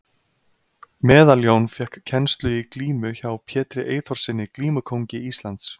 Meðaljón fékk kennslu í glímu hjá Pétri Eyþórssyni glímukóngi Íslands.